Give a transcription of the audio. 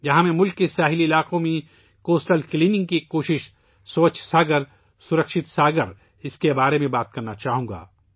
یہاں میں ملک کے ساحلی علاقوں میں ساحلی صفائی کی ایک کوشش ' سووچھ ساگر سرکشت ساگر ' کے بارے میں بات کرنا چاہوں گا